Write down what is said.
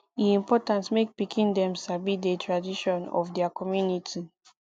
e important mek pikin dem sabi de tradition of dia community